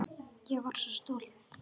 Ég var svo stolt.